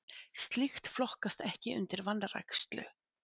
slíkt flokkast ekki undir vanrækslu